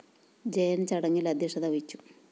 ജയന്‍ ചടങ്ങില്‍ അദ്ധ്യക്ഷത വഹിച്ചു